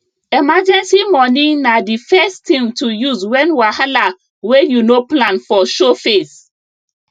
emergency money na the first thing to use when wahala wey you no plan for show face